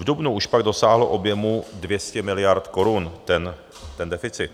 V dubnu už pak dosáhl objemu 200 miliard korun, ten deficit.